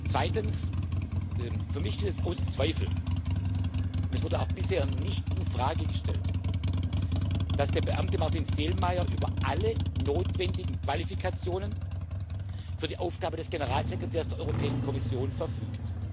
Zweitens Für mich steht außer Zweifel und es wurde auch bisher nicht in Frage gestellt dass der Beamte Martin Selmayr über alle notwendigen Qualifikationen für die Aufgabe des Generalsekretärs der Europäischen Kommission verfügt.